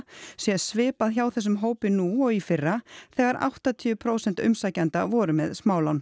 sé svipað hjá þessum hópi nú og í fyrra þegar áttatíu prósent umsækjenda voru með smálán